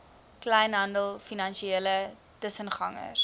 kleinhandel finansiële tussengangers